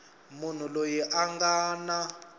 munhu loyi a nga na